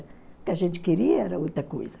O que a gente queria era outra coisa.